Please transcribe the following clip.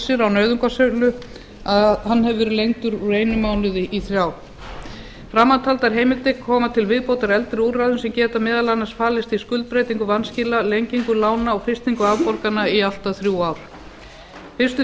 missir á nauðungarsölu verið lengdur úr einum mánuði í þrjá framantaldar heimildir koma til viðbótar eldri úrræðum sem geta meðal annars falist í skuldbreytingu vanskila lengingu lána og frystingu afborgana í allt að þrjú ár fyrstu